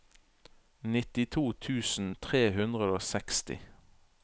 nittito tusen tre hundre og seksti